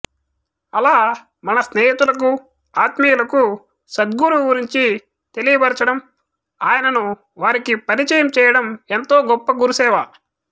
అలా మన స్నేహితులకు ఆత్మీయులకు సద్గురువు గురించి తెలియబరచడం ఆయనను వారికి పరిచయం చేయడం ఎంతో గొప్ప గురుసేవ